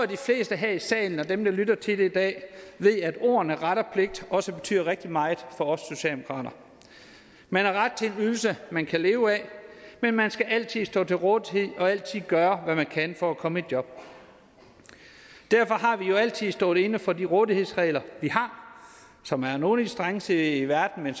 de fleste her i salen og dem der lytter til det her i dag ved at ordene ret og pligt også betyder rigtig meget for os socialdemokrater man har ret til en ydelse man kan leve af men man skal altid stå til rådighed og altid gøre hvad man kan for at komme i job derfor har vi jo altid stået inde for de rådighedsregler vi har som er nogle strengeste i verden men